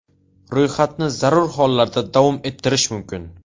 Ro‘yxatni zarur hollarda davom ettirish mumkin.